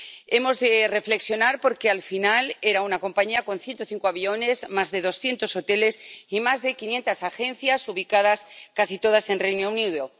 Hemos de reflexionar, porque al final era una compañía con 105 aviones, más de doscientos hoteles y más de quinientas agencias ubicadas casi todas en el Reino Unido